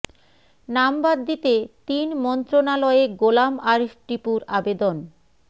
নাম বাদ দিতে তিন মন্ত্রণালয়ে গোলাম আরিফ টিপুর আবেদন